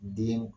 Den